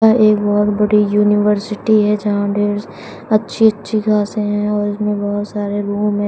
यह एक बहुत बड़ी यूनिवर्सिटी है जहां ढेर अच्छी अच्छी घासे हैं और इसमें बहुत सारे रूम हैं।